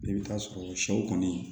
I bɛ taa sɔrɔ sɛw kɔni